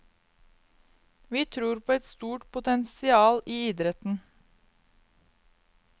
Vi tror på et stort potensial i idretten.